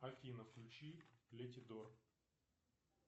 афина включи леди дор